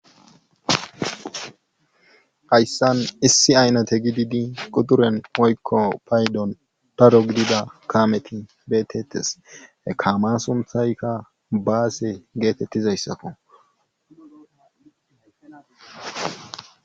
Hayssan issi aynate gidi quxxuren woykko paydon daro gidida kaameti beetetees. he kaam suunththaykka baase getetizayssakko.